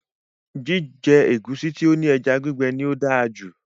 Jíjẹ ẹ̀gúsí tí ó ní ẹja gbígbẹ ní o dáa jù